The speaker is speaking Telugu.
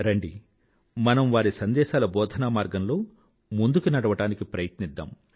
రండి మనం వారి సందేశాల బోధనా మార్గంలో ముందుకి నడవడానికి ప్రయత్నిద్దాం